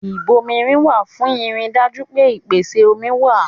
Ìbomirin wà fún ìrì dájú pé ìpèsè omi wa